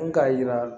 Mun k'a jira